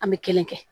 An bɛ kelen kɛ